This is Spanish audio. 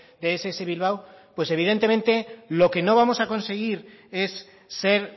de ess bilbao pues evidentemente lo que no vamos a conseguir es ser